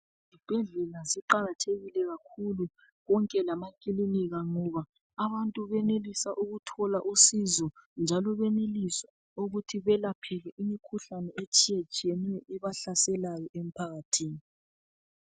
Isibhedlela siqakathekile kakhulu, konke lamakilinika ngoba abantu benelisa ukuthola usizo njalo benelisa ukuthi belaphele imikhuhlane etshiyetshiyeneyo ebahlaselayo emphakathini.